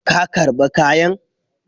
Ka karba kayan?